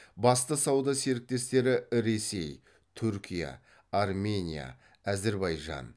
басты сауда серіктестері ресей түркия армения әзірбайжан